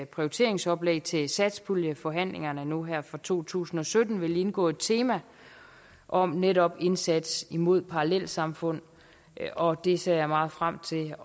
prioriteringsoplæg til satspuljeforhandlingerne nu her for to tusind og sytten vil indgå et tema om netop indsats mod parallelsamfund og det ser jeg meget frem til